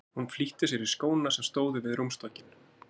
Hún flýtti sér í skóna sem stóðu við rúmstokkinn.